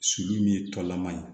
Sulu min ye tɔlama ye